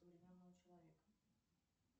современного человека